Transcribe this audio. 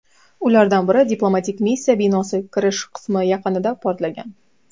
Ulardan biri diplomatik missiya binosi kirish qismi yaqinida portlagan.